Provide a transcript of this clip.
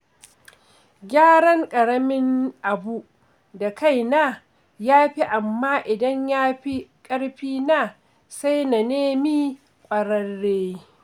Gyaran ƙaramin abu da kaina ya fi, amma idan ya fi ƙarfina, sai na nemi ƙwararre.